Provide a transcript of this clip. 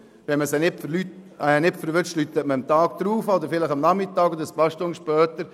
Wenn man sie nicht erreichen kann, ruft man sie vielleicht am Nachmittag oder am folgenden Tag an.